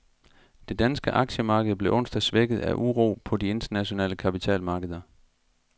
Det danske aktiemarked blev onsdag svækket af uro på de internationale kapitalmarkeder.